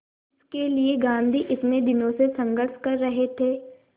जिसके लिए गांधी इतने दिनों से संघर्ष कर रहे थे